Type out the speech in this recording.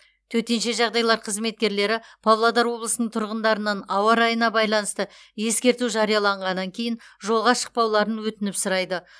төтенше жағдайлар қызметкерлері павлодар облысының тұрғындарынан ауа райына байланысты ескерту жарияланғаннан кейін жолға шықпауларын өтініп сұрайды